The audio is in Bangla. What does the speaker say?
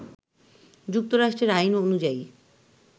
যুক্তরাষ্ট্রের আইন অনুযায়ী,